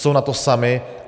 Jsou na to sami.